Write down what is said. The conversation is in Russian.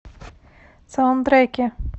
саундтреки